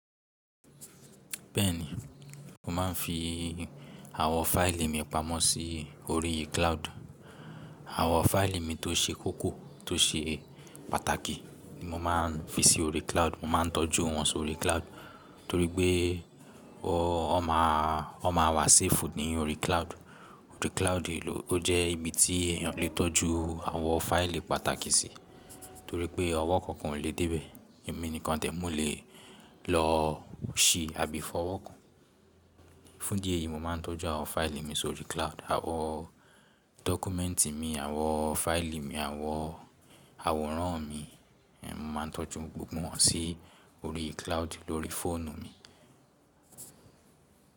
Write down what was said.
Bẹ́ẹ̀ni, mo máa ń fi àwọn fáìlì mi pamọ́ sí orí cloud. Àwọn fáìlì mi tó ṣe kókó, tó ṣe pàtàkì ni mo máa ń fi sí orí cloud. Mo máa ń tọ́jú wọn sórí cloud torí pé wọ́n, wọ́n máa ń wà safe ní orí cloud. Orí cloud ló jẹ́ ibi tí èèyàn lè tọ́jú àwọn fáìlì pàtàkì sí torí pé ọwọ́ kan kò lè dé bẹ̀. Ẹ̀mí nìkan tẹ̀ mọ́ lè lọ ṣí àbí fọwọ́ kan. Fún díẹ̀ yìí, mo máa ń tọ́jú àwọn fáìlì mi sórí cloud. Àwọn dọ́kúmẹ́ǹtì mi, àwọn fáìlì mi, àwọn àwòrán mi, mo máa ń tọ́jú gbogbo wọn sí orí cloud lórí fóònù mi.